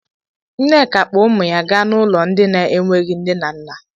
Nneka kpọ ụmụ ya gaa n'ụlọ ndị na-enweghi nne na nna.